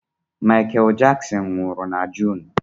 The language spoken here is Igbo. Michael Jackson nwụrụ na June.